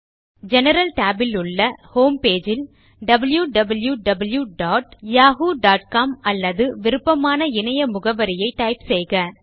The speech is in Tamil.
ஜெனரல் tab இலுள்ள ஹோம்பேஜ் ல் wwwyahoocom அல்லது விருப்பமான இணைய முகவரியை டைப் செய்க